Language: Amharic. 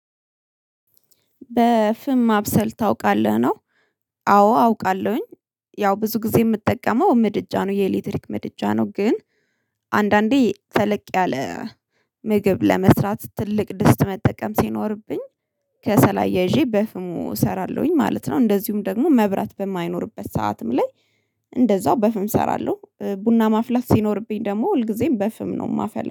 በፍም ማብሰል ታውቃለህ? ነው አዎ አውቃለሁኝ። ያው ብዙ ጊዜ የምትጠቀመው ምድጃ ነው የኤሌክትሪክ ምድጃ ነው ግን አንዳንዴ ተለቅ ያለ ምግብ ለመስራት ትልቅ ድስት መጠቀም ሲኖርብኝ ከሰል አያይዤ በፍሙ እሰራለሁኝ ማለት ነው፤ እንደዚሁም ደግሞ መብራት በማይኖርበት ሰዓትም ላይ እንደዛው በፍም እሰራለሁ። ቡና ማፍላት ሲኖርብኝ ደግሞ ሁልጊዜም በፍም ነው የማፈላው።